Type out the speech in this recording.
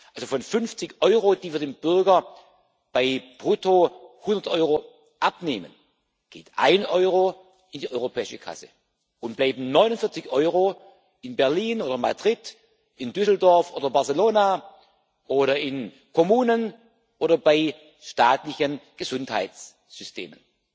Also von 50 Euro, die wir dem Bürger bei brutto 100 Euro abnehmen, geht ein Euro in die europäische Kasse und bleiben 49 Euro in Berlin oder Madrid, in Düsseldorf oder Barcelona oder in Kommunen oder bei staatlichen Gesundheitssystemen.